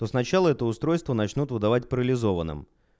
то сначала это устройство начнут выдавать парализованным